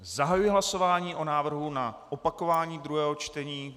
Zahajuji hlasování o návrhu na opakování druhého čtení.